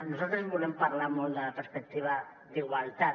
nosaltres volem parlar molt de la perspectiva d’igualtat